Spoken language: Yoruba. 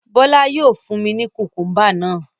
Bọ́lá yóò fun ní kùkúḿbà náà.